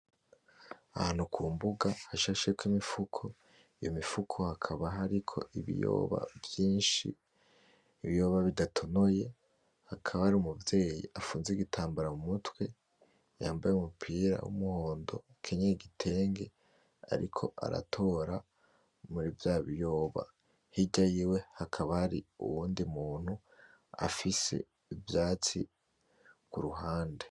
Ahantu kumbuga hashasheko Imifuko. imifuko hakaba hariko ibiyoba vyinshi ibiyoba bidatonoye, hakaba hari umuvyeyi afunze igitambara mumutwe yambaye Umupira w'umuhondo akenyeye igitenge ariko aratora murivya biyoba hirya yiw hakaba hari uwundi muntu afise ivyatsi iruhande.